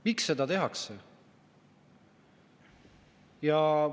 Miks seda tehakse?